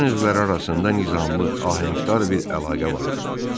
Bədən üzvləri arasında nizamlı, ahəngdar bir əlaqə vardı.